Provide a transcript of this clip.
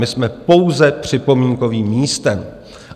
My jsme pouze připomínkovým místem.